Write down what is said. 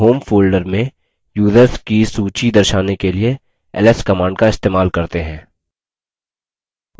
home folder में users की सूची दर्शाने के लिए ls command का इस्तेमाल करते हैं